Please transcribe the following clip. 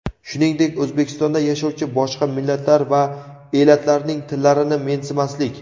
shuningdek O‘zbekistonda yashovchi boshqa millatlar va elatlarning tillarini mensimaslik:.